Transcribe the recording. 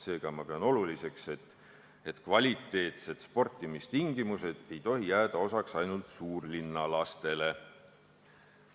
Seega ma pean oluliseks, et korralikud sportimistingimused on tagatud kõigile, mitte ainult suurlinna lastele.